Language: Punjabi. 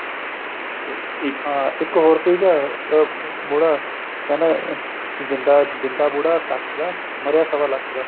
ਤੇ ਇੱਕ ਹਾਂ ਇੱਕ ਹੋਰ ਤੀਗਾ ਅਹ ਬੁੜਾ ਕਹਿੰਦਾ ਜਿੰਦਾ ਜਿੰਦਾ ਬੁੜਾ ਕੱਖ਼ ਦਾ ਮਰਿਆ ਸ਼ਵਾ ਲੱਖ਼ ਦਾ